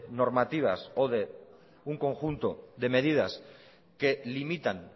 normativas o de un conjunto de medidas que limitan